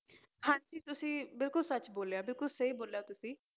ਹਾਂਜੀ ਤੁਸੀਂ ਬਿਲਕੁਲ ਸੱਚ ਬੋਲਿਆ ਬਿਲਕੁਲ ਸਹੀ ਬੋਲਿਆ ਤੁਸੀਂ।